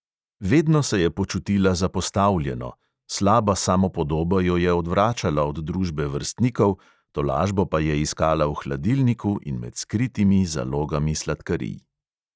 Vedno se je počutila zapostavljeno, slaba samopodoba jo je odvračala od družbe vrstnikov, tolažbo pa je iskala v hladilniku in med skritimi zalogami sladkarij.